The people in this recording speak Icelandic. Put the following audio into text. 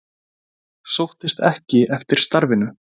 Sóttist ekki eftir starfinu